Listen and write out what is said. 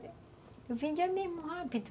Eu vendia mesmo, rápido.